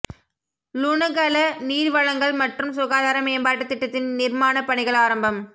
லுணுகல நீர்வழங்கல் மற்றும் சுகாதார மேம்பாட்டு திட்டத்தின் நிர்மாணப்பணிகள் ஆரம்பம்